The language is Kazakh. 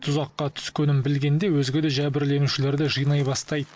тұзаққа түскенін білгенде өзге де жәбірленушілерді жинай бастайды